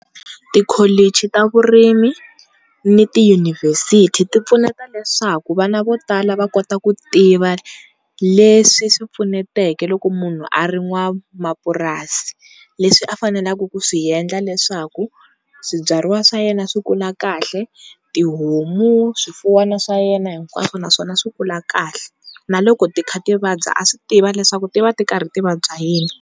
Tikholichi ta vurimi ni tiyunivhesiti ti pfuneta leswaku vana vo tala va kota ku tiva leswi swi pfunetaka loko munhu a ri n'wamapurasi, leswi a faneleke ku swi endla leswaku swibyariwa swa yena swi kula kahle, tihomu, swifuwana swa yena hinkwaswo na swona swi kula kahle na loko ti kha ti vabya a swi tiva leswaku ti va ti karhi ti vabya hi yini.